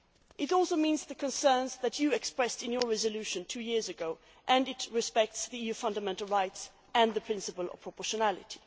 It also reflects the concerns that you expressed in your resolution two years ago and respects fundamental rights and the principle of proportionality.